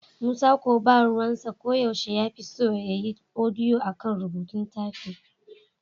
Musa ko ba ruwansa, ko yaushe shi ya fi son ya yi odiyo a kan rubutu/tafin.